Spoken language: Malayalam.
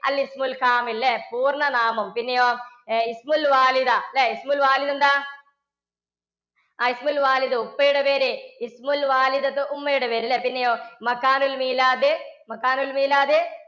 ല്ലേ? പൂർണ്ണനാമം പിന്നെയോ എന്താ ആ ഉപ്പയുടെ പേര് ഉമ്മയുടെ പേര് പിന്നെയോ